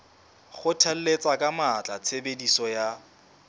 kgothalletsa ka matla tshebediso ya